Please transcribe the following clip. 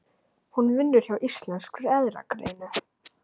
Hún vinnur hjá Íslenskri erfðagreiningu.